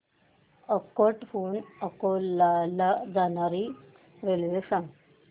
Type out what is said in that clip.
अकोट हून अकोला ला जाणारी रेल्वे सांग